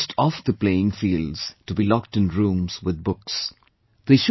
They should not be forced off the playing fields to be locked in rooms with books